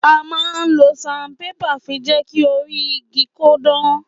À ma ń lo sanpépà fí jẹki òrí ìgí kọ dàn